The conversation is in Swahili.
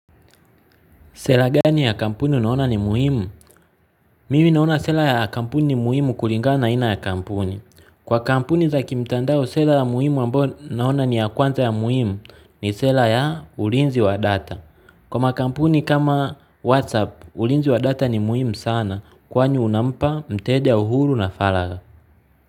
Sera gani ya kampuni unaona ni muhimu? Mimi naona sera ya kampuni ni muhimu kulingana na aina ya kampuni. Kwa kampuni za kimtandao, sera ya muhimu ambayo naona ni ya kwanza ya muhimu ni sera ya ulinzi wa data. Kwa makampuni kama WhatsApp, ulinzi wa data ni muhimu sana kwani unampa mteja uhuru na faragha.